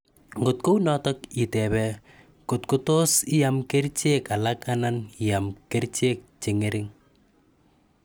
Ngot kounotok, itebee kot kotos iam kerchek alak anan iam kerchek chengering